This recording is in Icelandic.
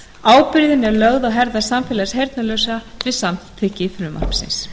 ábyrgð er lögð á herðar samfélags heyrnarlausra með samþykkt frumvarpsins